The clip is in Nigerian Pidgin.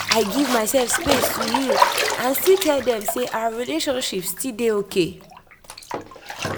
i give myself space to heal and still tell them say our relationship still dey okay.